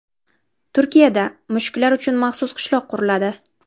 Turkiyada mushuklar uchun maxsus qishloq quriladi.